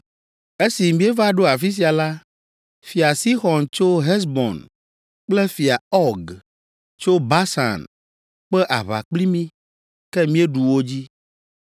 Esi míeva ɖo afi sia la, Fia Sixɔn tso Hesbon kple Fia Ɔg tso Basan kpe aʋa kpli mí, ke míeɖu wo dzi;